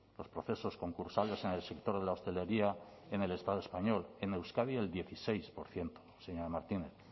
los procesos concursales en el sector de la hostelería en el estado español en euskadi el dieciséis por ciento señora martínez